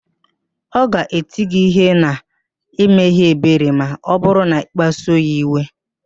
Ọ ga-eti gị ihe na-emeghị ebere ma ọ bụrụ na-ịkpasuo ya iwe